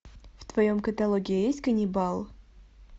в твоем каталоге есть ганнибал